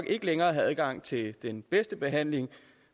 ikke længere have adgang til den bedste behandling